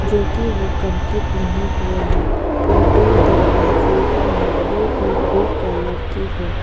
जो कि वह कंप्लीट नहीं हुआ है और दो दरवाजे भी है वह भी ब्लू कलर की है।